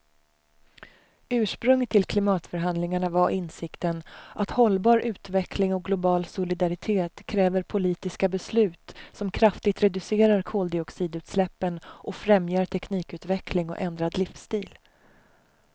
Ursprunget till klimatförhandlingarna var insikten att hållbar utveckling och global solidaritet kräver politiska beslut som kraftigt reducerar koldioxidutsläppen och främjar teknikutveckling och ändrad livsstil.